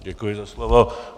Děkuji za slovo.